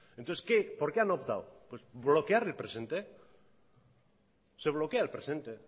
entonces qué por qué han optado pues bloquear el presente se bloquea el presente